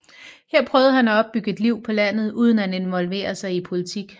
Her prøvede han at opbygge et liv på landet uden at involvere sig i politik